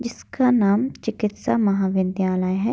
जिसका नाम चिकित्सा महाविद्यालय है।